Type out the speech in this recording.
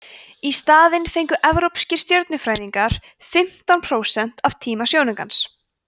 í staðinn fengu evrópskir stjörnufræðingar fimmtán prósent af tíma sjónaukans